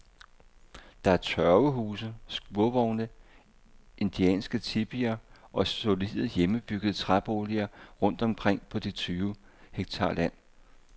Der er tørvehuse, skurvogne, indianske tipier og solide, hjemmebyggede træboliger rundt omkring på de tyve hektar land.